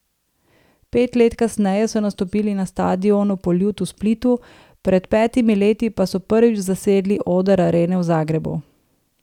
Pet let kasneje so nastopili na stadionu Poljud v Splitu, pred petimi leti pa so prvič zasedli oder Arene v Zagrebu.